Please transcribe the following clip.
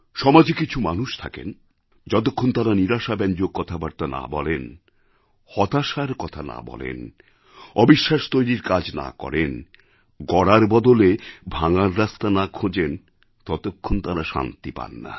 সমাজে কিছু মানুষ থাকেন যতক্ষণ তাঁরা নিরাশাব্যঞ্জক কথাবার্তা না বলেন হতাশার কথা না বলেন অবিশ্বাস তৈরির কাজ না করেন গড়ার বদলে ভাঙার রাস্তা না খোঁজেন ততক্ষণ তাঁরা শান্তি পান না